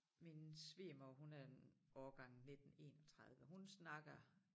Min svigermor hun er en årgang 19 31 hun snakker